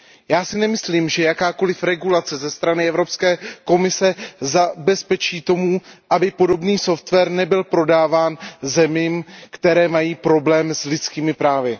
Já si nemyslím, že jakákoliv regulace za strany Evropské komise zabezpečí to, aby podobný software nebyl prodáván zemím, které mají problém s lidskými právy.